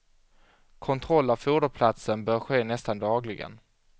Kontroll av foderplatsen bör ske nästan dagligen.